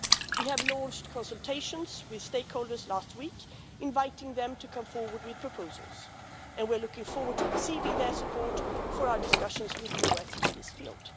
We launched consultations with stakeholders last week, inviting them to come forward with proposals, and we're looking forward to receiving their support for our discussions with the USA in this field.